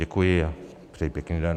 Děkuji a přeji pěkný den.